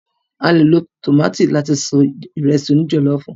A lò lo tómátì láti se Ìrẹ́sì òní jọ̀lọ́ọ̀fù